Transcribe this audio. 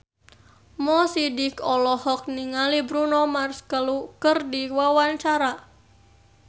Mo Sidik olohok ningali Bruno Mars keur diwawancara